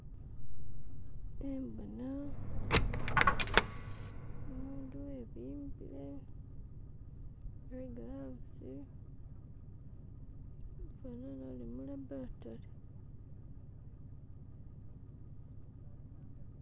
Khembona umundu webimbile tsi gloves afanane uli mu laboratory.